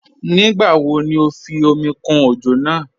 Nígbà wò ní o fí omi kún ojò náà?